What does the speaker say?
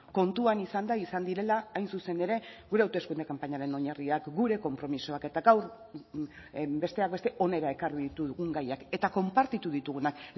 kontuan izanda izan direla hain zuzen ere gure hauteskunde kanpainaren oinarriak gure konpromisoak eta gaur besteak beste hona ekarri ditugun gaiak eta konpartitu ditugunak